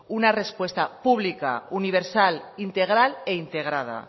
una respuesta publica universal integral e integrada